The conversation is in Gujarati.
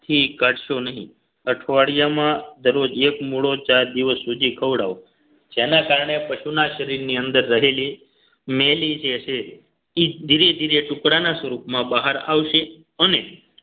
થી કાઢશો નહીં અઠવાડિયામાં દરરોજ એક મૂળો ચાર દિવસ સુધી ખવડાવો જેના કારણે પશુના શરીરની અંદર રહેલી મેલી જે છે એ ધીરે ધીરે ટુકડાના સ્વરૂપમાં બહાર આવશે અને